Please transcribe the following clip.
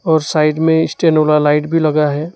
और साइड में स्टैंड वाला लाइट भी लगा है।